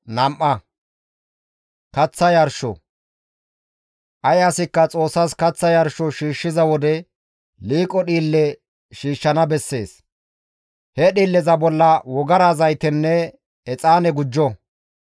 «Ay asikka Xoossas kaththa yarsho shiishshiza wode liiqo dhiille shiishshana bessees; he dhiilleza bolla wogara zaytenne exaane gujjo;